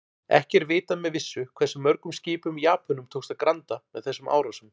Ekki er vitað með vissu hversu mörgum skipum Japönum tókst að granda með þessum árásum.